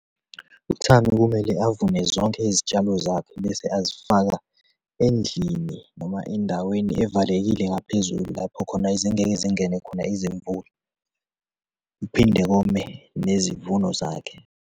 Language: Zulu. UThami kumele avune zonke izitshalo zakhe bese azifaka endlini noma endaweni evalekile ngaphezulu, lapho khona ezingeke zingene khona izimvula, phinde kome nezivuno zakhe.